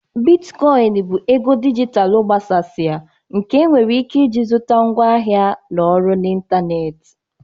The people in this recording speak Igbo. Bitcoin bụ ego dijitalụ agbasasịa nke enwere ike iji zụta ngwaahịa na ọrụ n'ịntanetị.